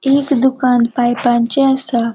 एक दुकान पाइपाचे असा.